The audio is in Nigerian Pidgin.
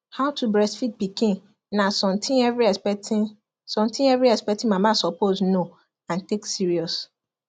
how to breastfeed pikin na something every expecting something every expecting mama suppose know and take serious